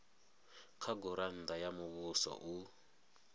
kha gurannda ya muvhuso u